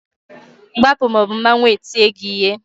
Gbapụ ma ọ bụ mmawu ga-eti gị ihe!